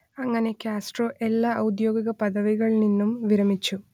അങ്ങനെ കാസ്ട്രോ എല്ലാ ഔദ്യോഗിക പദവികളിൽ നിന്നും വിരമിച്ചു